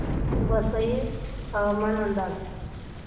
वसई हवामान अंदाज